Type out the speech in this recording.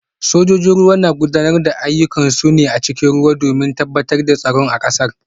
Sojojin ruwa na gudanar da ayyukansu ne a cikin ruwa domin tabbatar da tsaron kasar